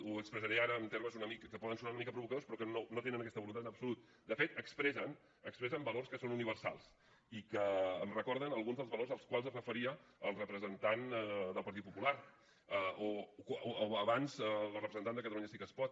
ho expressaré ara amb termes que poden sonar una mica provocadors però que no tenen aquesta voluntat en absolut de fet expressen expressen valors que són universals i que em recorden alguns dels valors als quals es referia el representant del partit popular o abans la representant de catalunya sí que es pot